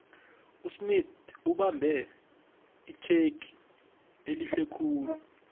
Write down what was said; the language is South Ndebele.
usmith ubambe itjhegi ehlekhulu